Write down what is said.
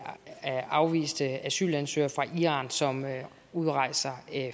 afviste asylansøgere fra iran som udrejser